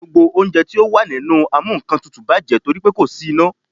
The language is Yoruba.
Gbogbo oúnjẹ tí ó wà nínú amúnkantutù bàjẹ́ torí pe kò sí iná.